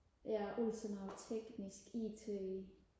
der er god til noget teknisk it